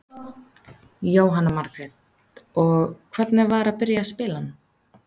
Jóhanna Margrét: Og, hvernig var að byrja að spila hann?